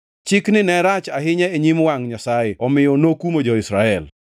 Chikni ne rach ahinya e nyim wangʼ Nyasaye omiyo nokumo jo-Israel.